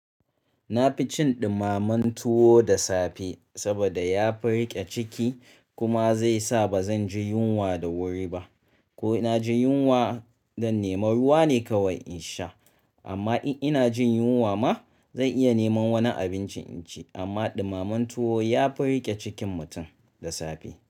Na fi cin ɗumamen tuwo da safe saboda yafi riƙe ciki kuma zai sa ba zan ji yunwa da wuri ba. Ko ina jin yunwa, don neman ruwa ne kawai in sha. Amma in inaji yunwa ma zan iya neman wani abincin nace amma ɗumamen tuwo yafi riƙe cikin mutum da safe.